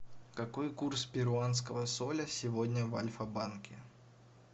какой курс перуанского соля сегодня в альфа банке